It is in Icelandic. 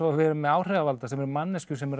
við með áhrifavalda sem eru manneskjur sem eru